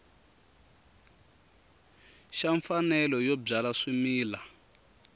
xa mfanelo yo byala swimila